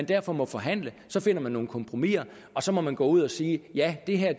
derfor må forhandle så finder man nogle kompromiser og så må man gå ud at sige ja det her